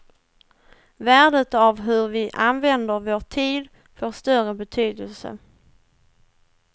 Värdet av hur vi använder vår tid får större betydelse.